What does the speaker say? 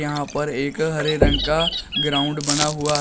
यहां पर एक हरे रंग का ग्राउंड बना हुआ है।